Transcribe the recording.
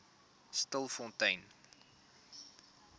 stilfontein